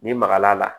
Ni magal'a la